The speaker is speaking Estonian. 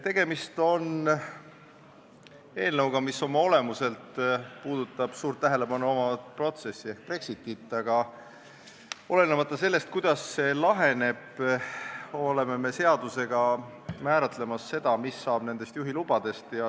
Tegemist on eelnõuga, mis oma olemuselt puudutab suurt tähelepanu saavat protsessi ehk Brexitit, aga olenemata sellest, kuidas see probleem laheneb, oleme me seadusega määratlemas seda, mis Eestis saab Ühendkuningriigis väljaantud juhilubadest.